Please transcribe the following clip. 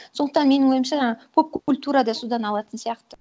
сондықтан менің ойымша ы поп культура да содан алатын сияқты